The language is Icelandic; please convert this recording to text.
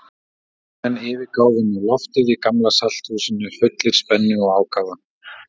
Fundarmenn yfirgáfu nú loftið í Gamla-salthúsinu fullir spennu og ákafa.